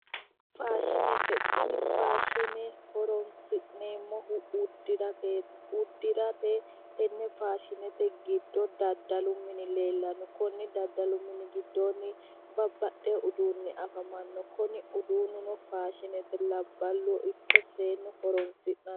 Faashinete tini faashine horonsi'neemmohu uddirateeti uddirate tenne faashinete giddo daddalu mini afamanno konni daddalu mini giddoonni babbaxxeyo uduunni afamanno kuni uduunnuno faashinete labballu ikko seennu horonsiranno